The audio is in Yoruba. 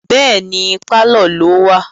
Bẹ́ẹ̀ni, pálọ̀ ló wà